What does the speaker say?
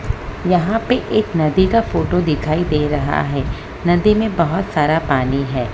यहां पे एक नदी का फोटो दिखाई दे रहा है नदी में बहुत सारा पानी है।